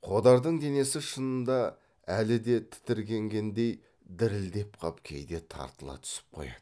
қодардың денесі шынында әлі де тітіркенгендей дірілдеп қап кейде тартыла түсіп қояды